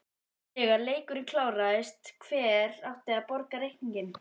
Þegar leikurinn kláraðist, hver átti að borga reikninginn?